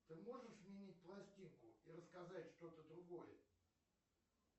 ты можешь сменить пластинку и рассказать что то другое